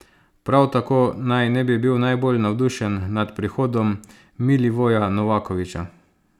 Prav tako naj ne bi bil najbolj navdušen nad prihodom Milivoja Novakovića.